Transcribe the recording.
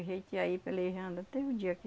a gente ir aí pelejando até o dia que